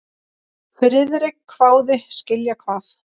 Friðrik hváði: Skilja hvað?